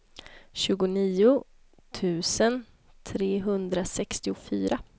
tjugonio tusen trehundrasextiofyra